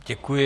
Děkuji.